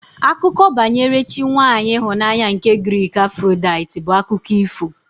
Akụkọ banyere chi nwaanyị ịhụnanya nke Giriki Afrodaiti bụ akụkọ ifo